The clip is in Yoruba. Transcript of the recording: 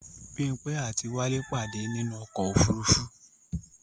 Bímpé àti wálé pàdé ní inú ọ̀kọ̀ ofúrufú